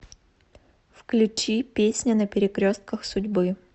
включи песня на перекрестках судьбы